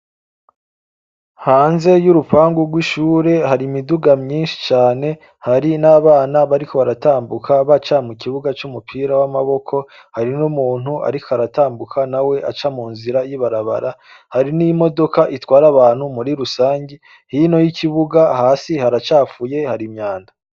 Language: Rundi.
Hanze y'urupangu rw'ishure hari imiduga myinshi cane hari n'abana bariko baratambuka ba camu kibuga c'umupira w'amaboko hari n'umuntu, ariko aratambuka na we aca mu nzira yibarabara hari n'imodoka itwara abantu muri rusange hino y'ikibuga hasi haracafuye harima banda.